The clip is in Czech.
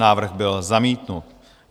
Návrh byl zamítnut.